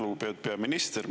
Lugupeetud peaminister!